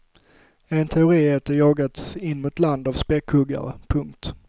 En teori är att de jagats in mot land av späckhuggare. punkt